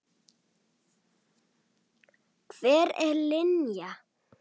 Hver er Linja?